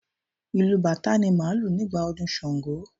Ìlù bàtá ni máà ń lù nígbà ọdún ṣàngó